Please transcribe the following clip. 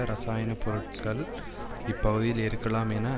இரசாயன பொருட்கள் இப்பகுதியில் இருக்கலாம் என